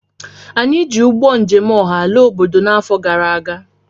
Anyị ji ụgbọ njem ọha laa obodo n'afọ gara aga